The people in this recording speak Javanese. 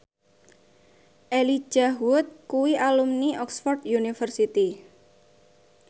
Elijah Wood kuwi alumni Oxford university